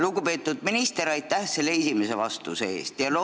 Lugupeetud minister, aitäh selle esimese vastuse eest!